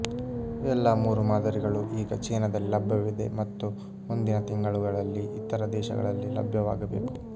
ಎಲ್ಲಾ ಮೂರು ಮಾದರಿಗಳು ಈಗ ಚೀನಾದಲ್ಲಿ ಲಭ್ಯವಿವೆ ಮತ್ತು ಮುಂದಿನ ತಿಂಗಳುಗಳಲ್ಲಿ ಇತರ ದೇಶಗಳಲ್ಲಿ ಲಭ್ಯವಾಗಬೇಕು